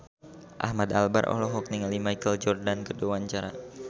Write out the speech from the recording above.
Ahmad Albar olohok ningali Michael Jordan keur diwawancara